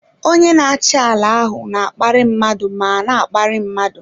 Onye na-achị ala ahụ na-akparị mmadụ ma na-akparị mmadụ.